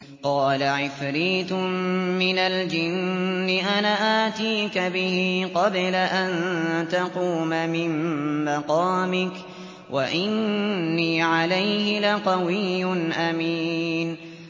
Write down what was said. قَالَ عِفْرِيتٌ مِّنَ الْجِنِّ أَنَا آتِيكَ بِهِ قَبْلَ أَن تَقُومَ مِن مَّقَامِكَ ۖ وَإِنِّي عَلَيْهِ لَقَوِيٌّ أَمِينٌ